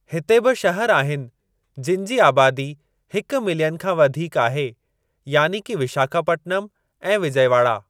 हिते बि शहर आहिनि जिनि जे आबादी हिकु मिलियन खां वधीक आहे, यानी कि विशाखापटनम ऐं विजयवाड़ा।